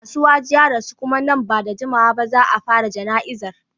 Asiwaju ya rasu kuma nan ba da jimawa ba za a fara jana'izar.